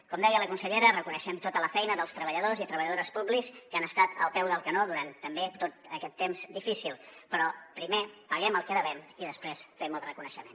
com deia la consellera reconeixem tota la feina dels treballadors i treballadores públics que han estat al peu del canó durant també tot aquest temps difícil però primer paguem el que devem i després fem el reconeixement